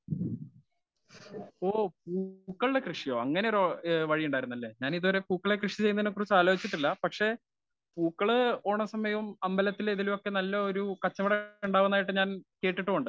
Speaker 1 ഓ പൂക്കളുടെ കൃഷിയോ ഏ അങ്ങനെ ഒരു വഴിയുണ്ടാരുന്നല്ലേ. ഞാൻ ഇതുവരെ പൂക്കളെ കൃഷി ചെയ്യുന്നതിനെ പറ്റി ആലോചിച്ചിട്ടില്ല. പക്ഷെ പൂക്കള് ഓണസമയവും അമ്പലത്തിലെ നല്ലൊരു കച്ചവടം ഉണ്ടാവുന്നതായിട്ട് ഞാൻ കേട്ടിട്ടുണ്ട്.